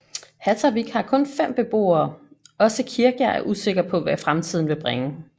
Hattarvík har kun 5 beboere også Kirkja er usikker på hvad fremtiden vil bringe